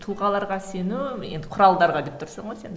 тұлғаларға сену енді құралдарға деп тұрсың ғой сен